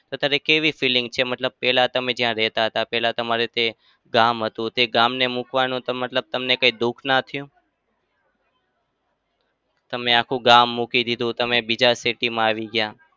અત્યારે કેવી feeling છે? મતલબ પેલા જ્યાં રેતા હતા. પેલા તમારે જે ગામ હતું તે ગામને મુકવાનું તમને કોઈ દુખ ના થયું? તમે આખું ગામ મુકી દીધું, તમે બીજા city માં આવી ગયા.